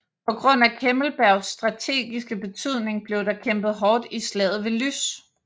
På grund af Kemmelbergs strategiske betydning blev der kæmpet hårdt i slaget ved Lys